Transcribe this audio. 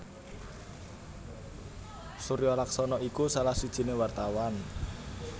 Suryo Laksono iku salah sijiné wartawan